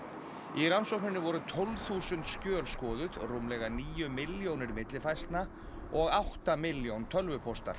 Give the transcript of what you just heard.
í rannsókninni voru tólf þúsund skjöl skoðuð rúmlega níu milljónir millifærslna og átta milljón tölvupóstar